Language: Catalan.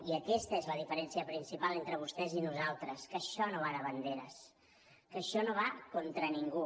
i aquesta és la diferència principal entre vostès i nosaltres que això no va de banderes que això no va contra ningú